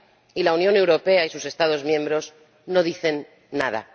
y la Unión Europea y sus Estados miembros no dicen nada.